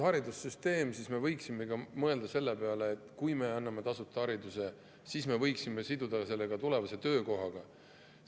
… haridussüsteem ja me võiksime mõelda selle peale, et kui me anname tasuta hariduse, siis me võiksime siduda selle ka tulevase töökohaga.